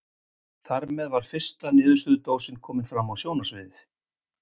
Þarmeð var fyrsta niðursuðudósin komin fram á sjónarsviðið.